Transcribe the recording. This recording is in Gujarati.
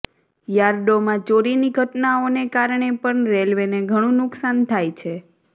યાર્ડોમાં ચોરીની ઘટનાઓને કારણે પણ રેલવેને ઘણું નુકસાન થાય છે